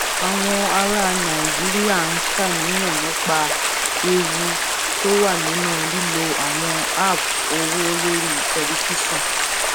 àwọn ará nàìjíríà ń ṣàníyàn nípa ewu nípa ewu tó wà nínú lílo àwọn app owó lórí tẹlifíṣòn